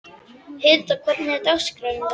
Hilda, hvernig er dagskráin í dag?